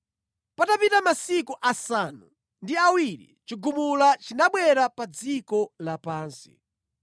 Patapita masiku asanu ndi awiri chigumula chinabwera pa dziko lapansi.